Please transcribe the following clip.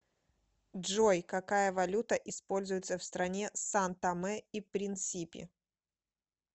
джой какая валюта используется в стране сан томе и принсипи